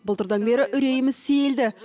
былтырдан бері үрейіміз сейілді